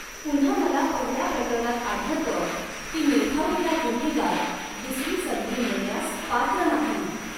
पुन्हा मला पहिल्या प्रकरणात आढळतं की निर्ढावलेला गुन्हेगार दुसरी संधी मिळण्यास पात्र नाही.